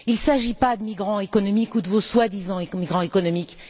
Il ne s'agit pas de migrants économiques ou de vos soi disant migrants économiques.